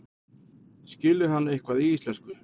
Skilur hann eitthvað í íslensku?